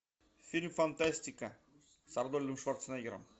фильм фантастика с арнольдом шварценеггером